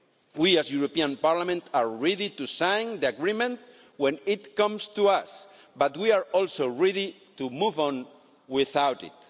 We at the European Parliament are ready to sign the agreement when it comes to us, but we are also ready to move on without it.